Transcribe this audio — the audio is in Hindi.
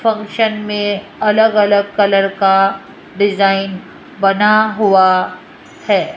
फंक्शन में अलग अलग कलर का डिजाइन बना हुआ है।